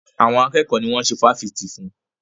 Àwọn akẹ́kọ̀ọ́ ni wọ́n ṣe fásitì fún.